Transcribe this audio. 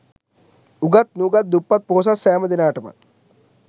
උගත් නූගත්, දුප්පත් පොහොසත් සෑම දෙනාට ම